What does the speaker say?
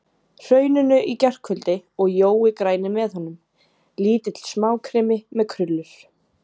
Hrauninu í gærkvöldi og Jói græni með honum, lítill smákrimmi með krullur.